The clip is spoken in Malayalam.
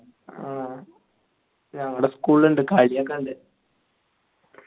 ആ ഞങ്ങളാ school ഉണ്ട് കളിയൊക്കെയുണ്ട്